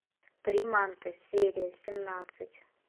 приманка серия семнадцать